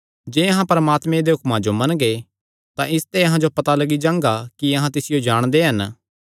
जे अहां परमात्मे दे हुक्मां जो मनगे तां इसते अहां जो पता लग्गी जांगा कि अहां तिसियो जाणदे हन